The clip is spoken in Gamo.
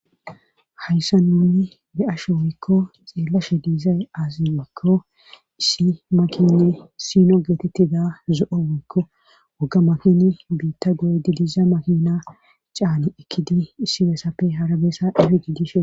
hayssa nunni de7asho wiikko xeellashe diizay aazi wakko issi makini sino geetettida zo7o wakko woga makini biitta goydi diiza makina caani ekkidi issi besappe harabeessa dhifi gidishe